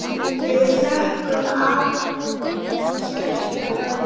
Við þökkum af hjarta bæði.